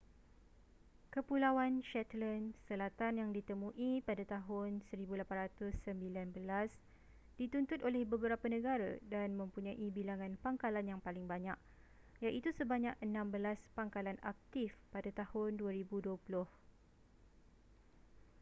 kepulauan shetland selatan yang ditemui pada tahun 1819 dituntut oleh beberapa negara dan mempunyai bilangan pangkalan yang paling banyak iaitu sebanyak enam belas pangkalan aktif pada tahun 2020